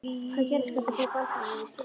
Hvað gerðist, hvernig fór Baldur yfir strikið?